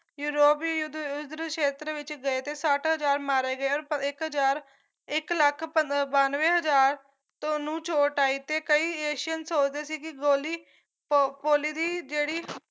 ਯੂਰੋਪੀ ਯੁੱਧ ਯੁਦਰ ਸ਼ੇਤਰ ਵਿੱਚ ਗਏ ਤੇ ਸੱਠ ਹਜ਼ਾਰ ਮਾਰੇ ਗਏ ਔਰ ਇੱਕ ਹਜਾਰ ਇੱਕ ਇੱਕ ਲੱਖ ਬਾਨਵੇਂ ਹਜ਼ਾਰ ਨੂੰ ਚੋਟ ਆਈ ਤੇ ਕਈ ਏਸ਼ੀਅਨ ਸੋਚਦੇ ਸੀ ਕੀ ਗੋਲੀ ਪੋਲੀ ਦੀ ਜਿਹੜੀ